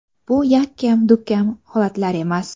Bu yakkam-dukkam holatlar emas.